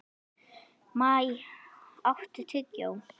Maj, áttu tyggjó?